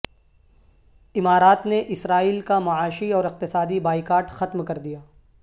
امارات نے اسرائیل کا معاشی اور اقتصادی بائیکاٹ ختم کر دیا